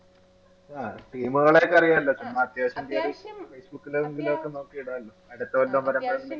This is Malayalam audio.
ആ team കളെയൊക്കെ അറിയാലോ ചുമ്മാ അത്യാവശ്യം കയറി facebook ലും നമുക്ക് ഇടാലോ അടുത്ത